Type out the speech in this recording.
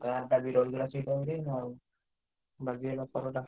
Car ଟା ବି ରହିଗଲା ସେଇ time ରେ ଆଉ ବାଗେଇ ରାସ୍ତା